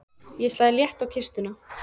Ég slæ létt í kistuna.